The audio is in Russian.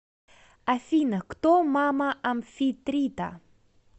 афина кто мама амфитрита